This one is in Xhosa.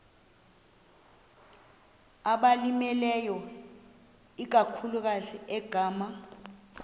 abalimileyo ikakhulu ngama